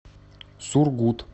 сургут